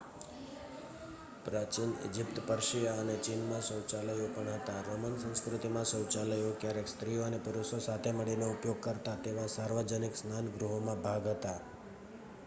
પ્રાચીન Egypt Persia અને ચીનમાં શૌચાલયો પણ હતાં રોમન સંસ્કૃતિમાં શૌચાલયો ક્યારેક સ્ત્રીઓ અને પુરુષો સાથે મળીને ઉપયોગ કરતા તેવા સાર્વજનિક સ્નાન ગૃહોના ભાગ હતાં